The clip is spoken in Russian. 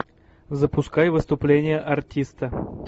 запускай выступление артиста